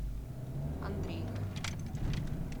андрейка